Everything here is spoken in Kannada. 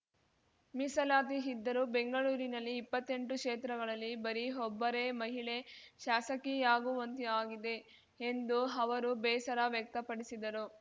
ಮೀಸಲಾತಿ ಇದ್ದರೂ ಬೆಂಗಳೂರಿನಲ್ಲಿ ಇಪ್ಪತ್ತೆಂಟು ಕ್ಷೇತ್ರಗಳಲ್ಲಿ ಬರೀ ಒಬ್ಬರೇ ಮಹಿಳೆ ಶಾಸಕಿಯಾಗುವಂತಾಗಿದೆ ಎಂದು ಅವರು ಬೇಸರ ವ್ಯಕ್ತಪಡಿಸಿದರು